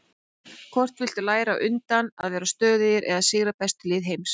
Hvort viltu læra á undan, að vera stöðugir eða sigra bestu lið heims?